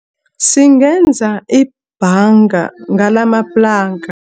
Singenza ibhanga ngalamaplanka.